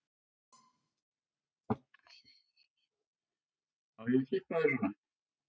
Unuhús, sagði Kristján, var heimili menntaðs manns.